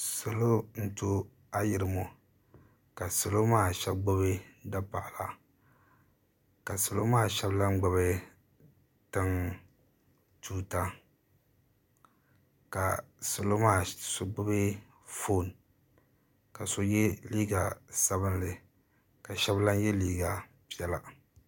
Salo n to ayirima ka salo maa sheba gbibi dapaɣala ka salo maa sheba lahi gbibi tuuta ka salo maa so gbibi fooni ka so ye liiga sabinli ka sheba lahi ye liiga piɛla.